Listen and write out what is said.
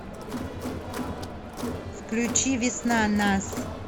включи весна нас